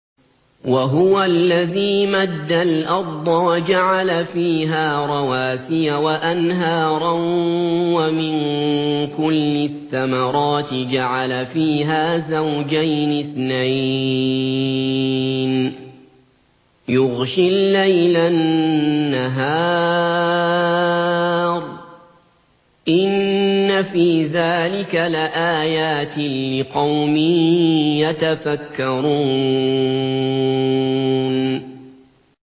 وَهُوَ الَّذِي مَدَّ الْأَرْضَ وَجَعَلَ فِيهَا رَوَاسِيَ وَأَنْهَارًا ۖ وَمِن كُلِّ الثَّمَرَاتِ جَعَلَ فِيهَا زَوْجَيْنِ اثْنَيْنِ ۖ يُغْشِي اللَّيْلَ النَّهَارَ ۚ إِنَّ فِي ذَٰلِكَ لَآيَاتٍ لِّقَوْمٍ يَتَفَكَّرُونَ